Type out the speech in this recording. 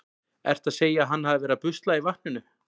Ertu að segja að hann hafi verið að busla í vatninu?